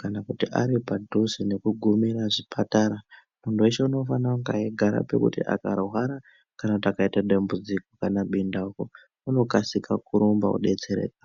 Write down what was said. kana kuti ari padhuze nekugumira zvipatara. Muntu veshe unofanira kunge eigara pekuti akarwa kana kuti akaite dambudziko kana bundauko, unokasika kurumba vobetsereka.